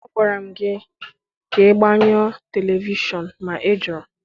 Agwaramụ gị ka ị gbanyụọ telivishọn ma ị jụrụ